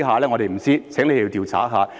我們不知道，請調查一下。